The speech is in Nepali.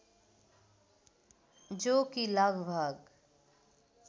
जो कि लगभग